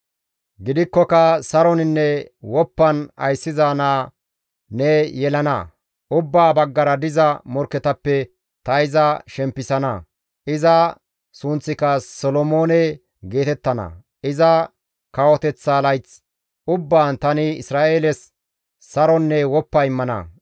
Gidikkoka, ‹Saroninne woppan ayssiza naa ne yelana; ubbaa baggara diza morkketappe ta iza shempisana; iza sunththika Solomoone geetettana; iza kawoteththa layth ubbaan tani Isra7eeles saronne woppa immana.